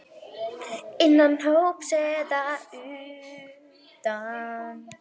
Innan hóps eða utan.